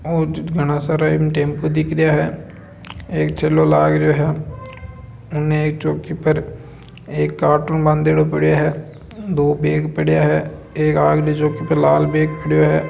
घन्ना सारा इमं टेंपो दिख रया है एक ठेलो लग रयो है इन्हें एक चौकी पर एक कार्टून बंद पड़े हैंदो बैग पड़े हुए हैं एक अगली चौकी पर लाल बैग पड़यो हैं।